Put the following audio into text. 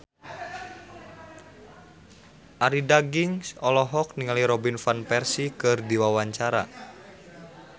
Arie Daginks olohok ningali Robin Van Persie keur diwawancara